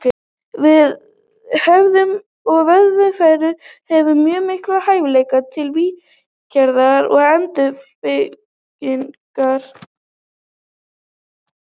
Vöðvafrumur og vöðvavefur hefur mjög mikla hæfileika til viðgerða og endurnýjunar.